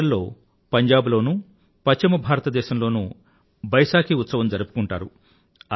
April లో పంజాబ్ లోనూ పశ్చిమ భారత దేశంలోనూ బైశాఖీ ఉత్సవం జరుపుకుంటారు